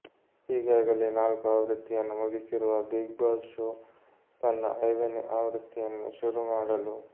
ಈಗಾಗಲೇ ನಾಲ್ಕು ಆವೃತ್ತಿಯನ್ನು ಮುಗಿಸಿರುವ ಬಿಗ್ ಬಾಸ್ ಶೋ ತನ್ನ ಐದನೇ ಆವೃತ್ತಿಯನ್ನು ಶುರು ಮಾಡಲು